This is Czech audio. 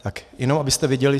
Tak jenom abyste věděli.